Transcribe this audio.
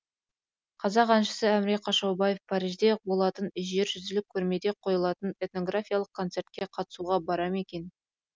қазақ әншісі әміре қашаубаев парижде болатын жержүзілік көрмеде қойылатын этнографиялық концертке қатысуға бара ме екен